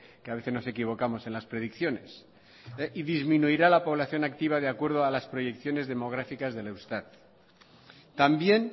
que a veces nos equivocamos en las predicciones y disminuirá la población activa de acuerdo a las proyecciones demográficas del eustat también